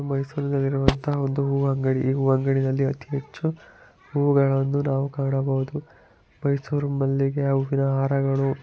ಮೈಸೂರುನಲ್ಲಿರುವಂತಹ ಒಂದು ಹೂ ಅಂಗಡಿ ಇದು ಅಂಗಡಿನಲ್ಲಿ ಅತೀ ಹೆಚ್ಚು ಹೂಗಳನ್ನು ನಾವು ಕಾಣಬಹುದು ಮೈಸೂರು ಮಲ್ಲಿಗೆ ಹೂವಿನ ಹಾರಗಳು.